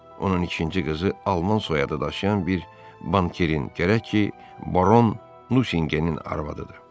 Onun ikinci qızı alman soyadı daşıyan bir bankirin, gərək ki, baron Nusinqenin arvadıdır.